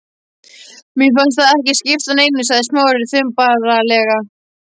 Mér fannst það ekki skipta neinu sagði Smári þumbaralega.